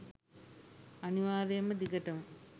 අනිවාර්යයෙන්ම දිගටම